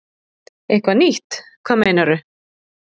Eitthvað nýtt, hvað meinarðu?